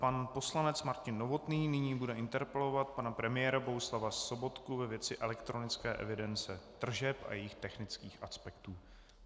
Pan poslanec Martin Novotný nyní bude interpelovat pana premiéra Bohuslava Sobotku ve věci elektronické evidence tržeb a jejích technických aspektů.